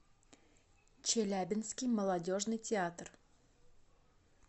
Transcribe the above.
челябинский молодежный театр